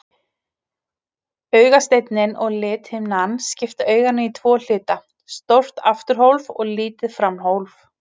Augasteinninn og lithimnan skipta auganu í tvo hluta, stórt afturhólf og lítið framhólf.